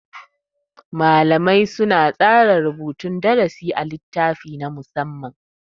Malamai suna tsara rubutun darasi a littafi na musamma.